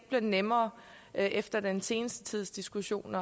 bliver nemmere efter den seneste tids diskussion